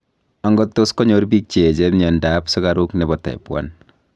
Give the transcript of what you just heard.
angot tos konyor biik che echen myanta ab sukaruk nebo type 1